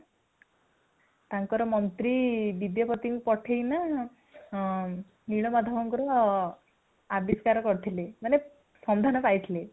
ତାଙ୍କର ମନ୍ତ୍ରୀ ବିଦ୍ୟାପତିଙ୍କୁ ପଠେଇକିନା ହଁ ନୀଳମାଧବଙ୍କର ଆବିଷ୍କାର କରିଥିଲେ ମାନେ ସନ୍ଧାନ ପାଇଥିଲେ